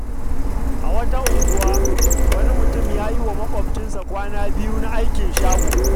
A wata unguwa, wani mutum ya yi wa makwabcinsa kwana biyu na aikin shago.